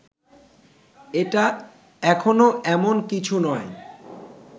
এটা এখনো এমন কিছু নয়